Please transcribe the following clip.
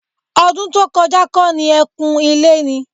Ọdún tó kọjá kọ́ ni ẹ́ kun ilé ni?